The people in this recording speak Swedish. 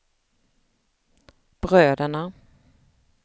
bröderna